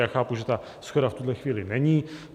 Já chápu, že ta shoda v tuhle chvíli není.